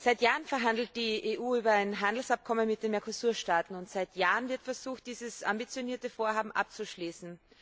Seit Jahren verhandelt die EU über ein Handelsabkommen mit den Mercosur Staaten, und seit Jahren wird versucht, dieses ambitionierte Vorhaben abzuschließen.